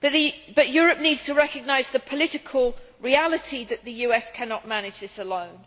However, Europe needs to recognise the political reality that the US cannot manage this alone.